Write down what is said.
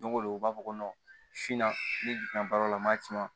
Go don u b'a fɔ ko ni fɛn baara la n m'a ci ma